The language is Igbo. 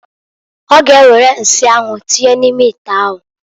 Ọ ga ewere nsị anwụ tinye n'ime ite ahụ.